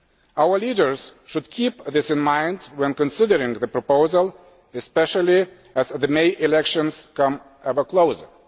Our leaders should keep this in mind when considering the proposal, especially as the May elections come ever closer.